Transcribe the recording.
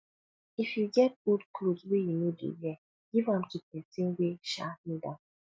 if you get old cloth wey you no dey wear give am to pesin wey um need am